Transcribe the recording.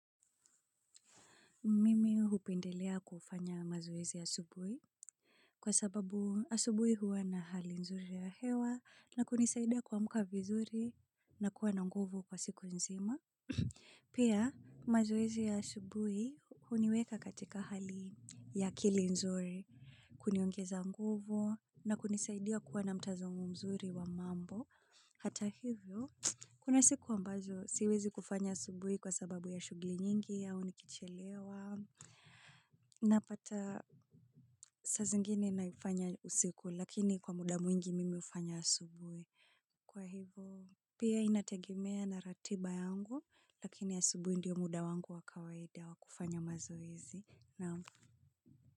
Mimi hupendelea kufanya mazoezi asubuhi kwa sababu asubuhi huwa na hali nzuri ya hewa na kunisaidia kuamka vizuri na kuwa na nguvu kwa siku nzima. Pia mazoezi ya asubuhi huniweka katika hali ya akili nzuri kuniongeza nguvu na kunisaidia kuwa na mtazamo mzuri wa mambo. Hata hivyo, kuna siku ambazo siwezi kufanya asubuhi kwa sababu ya shughuli nyingi, au nikichelewa. Napata saa zingine naifanya usiku, lakini kwa muda mwingi mimi hufanya asubuhi. Kwa hivyo, pia inategemea na ratiba yangu, lakini asubuhi ndiyo muda wangu wa kawaida wa kufanya mazoezi.